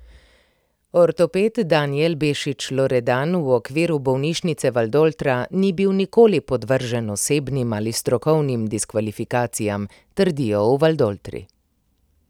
Ortoped Danijel Bešič Loredan v okviru bolnišnice Valdoltra ni bil nikoli podvržen osebnim ali strokovnim diskvalifikacijam, trdijo v Valdoltri.